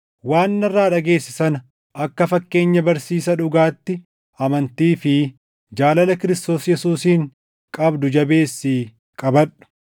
Waan narraa dhageesse sana akka fakkeenya barsiisa dhugaatti amantii fi jaalala Kiristoos Yesuusiin qabdu jabeessii qabadhu.